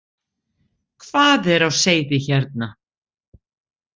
Hvað er á seyði hérna?